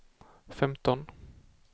femton